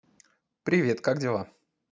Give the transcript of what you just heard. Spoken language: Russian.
привет как дела